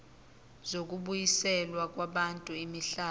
zokubuyiselwa kwabantu imihlaba